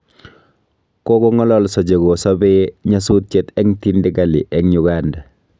Kogong'alalso che ko sabee nyasutiet ab tindikali eng' Uganda